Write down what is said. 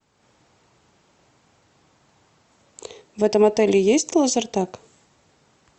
в этом отеле есть лазертаг